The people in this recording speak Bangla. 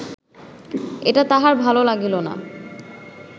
এটা তাহার ভাল লাগিল না